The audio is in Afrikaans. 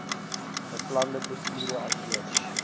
beplande prosedure asook